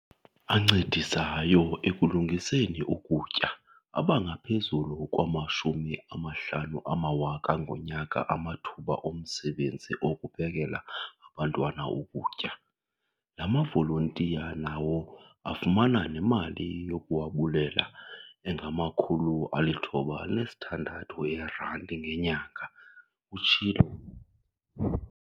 "ancedisayo ekulungiseni ukutya abangaphezulu kwama-50 000 ngonyaka amathuba omsebenzi okuphekela abantwana ukutya. La mavolontiya nawo afumana nemali yokuwabulela engama-960 eerandi ngenyanga," utshilo.